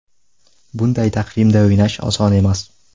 Bunday taqvimda o‘ynash oson emas.